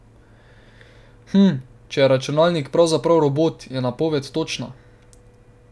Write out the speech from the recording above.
Hm, če je računalnik pravzaprav robot, je napoved točna.